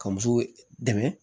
Ka muso dɛmɛ